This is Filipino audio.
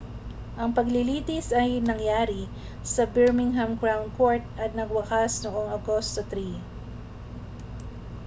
ang paglilitis ay nangyari sa birmingham crown court at nagwakas noong agosto 3